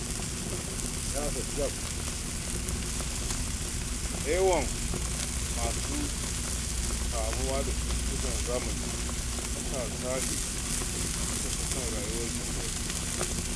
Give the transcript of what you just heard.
Da yawan masu kamuwa da cutukan zamanin matasa ne da suka fi son rayuwar jin daɗi.